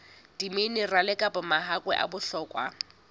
diminerale kapa mahakwe a bohlokwa